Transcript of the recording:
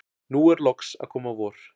nú er loks að koma vor.